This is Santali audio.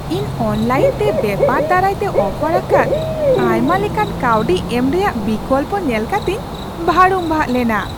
ᱤᱧ ᱚᱱᱞᱟᱭᱤᱱᱛᱮ ᱵᱮᱯᱟᱨ ᱫᱟᱨᱟᱭᱛᱮ ᱚᱯᱷᱟᱨ ᱟᱠᱟᱫ ᱟᱭᱢᱟᱞᱮᱠᱟᱱ ᱠᱟᱹᱣᱰᱤ ᱮᱢ ᱨᱮᱭᱟᱜ ᱵᱤᱠᱚᱞᱯᱚ ᱧᱮᱞ ᱠᱟᱛᱤᱧ ᱵᱷᱟᱹᱲᱩᱢᱵᱷᱟᱜ ᱞᱮᱱᱟ ᱾